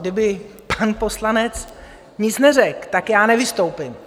Kdyby pan poslanec nic neřekl, tak já nevystoupím.